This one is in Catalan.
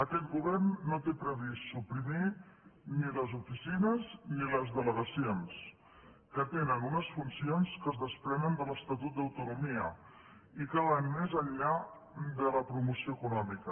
aquest govern no té previst suprimir ni les oficines ni les delegacions que tenen unes funcions que es desprenen de l’estatut d’autonomia i que van més enllà de la promoció econòmica